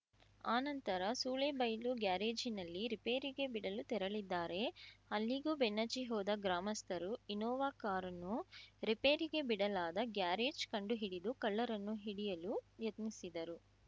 ಆನಂತರ ಸೂಳೇಬೈಲು ಗ್ಯಾರೇಜ್‌ನಲ್ಲಿ ರಿಪೇರಿಗೆ ಬಿಡಲು ತೆರಳಿದ್ದಾರೆ ಅಲ್ಲಿಗೂ ಬೆನ್ನಚ್ಚಿ ಹೋದ ಗ್ರಾಮಸ್ಥರರು ಇನ್ನೋವಾ ಕಾರನ್ನು ರಿಪೇರಿಗೆ ಬಿಡಲಾದ ಗ್ಯಾರೇಜ್‌ ಕಂಡುಹಿಡಿದು ಕಳ್ಳರನ್ನು ಹಿಡಿಯಲು ಯತ್ನಿಸಿದರು